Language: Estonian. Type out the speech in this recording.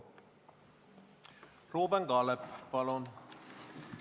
Ruuben Kaalep, palun!